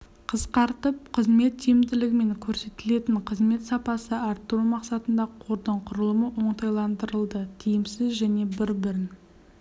қысқартып қызмет тиімділігі мен көрсетілетін қызмет сапасын арттыру мақсатында қордың құрылымы оңтайландырылды тиімсіз және бір-бірін